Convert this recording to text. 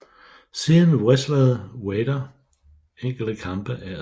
Siden wrestlede Vader enkelte kampe af og til